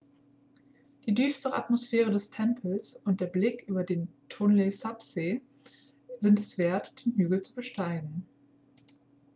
die düstere atmosphäre des tempels und der blick über den tonle-sap-see sind es wert den hügel zu besteigen